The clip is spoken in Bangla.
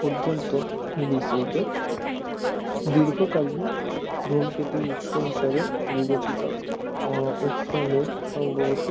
পর্যন্ত বিস্তৃত দীর্ঘকালীন ধূমকেতুর উৎস হিসাবে বিবেচিত উর্ট মেঘ সম্ভবত